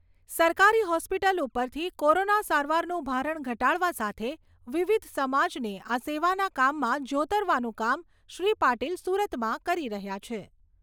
સરકારી હોસ્પિટલ ઉપરથી કોરોના સારવારનું ભારણ ઘટાડવા સાથે વિવિધ સમાજને આ સેવાના કામમાં જોતરવાનું કામ શ્રી પાટિલ સુરતમાં કરી રહ્યા છે.